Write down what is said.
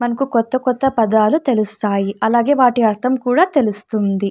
మనకు కొత్తకొత్త పదాలు తెలుస్తాయి. అలాగే వాటి అర్థం కూడా తెలుస్తుంది.